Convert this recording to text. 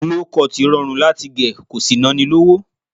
Low cut rọrùn láti gẹ̀ ko sì ná ni lówó